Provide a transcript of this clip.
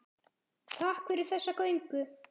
Takk fyrir þessa göngu.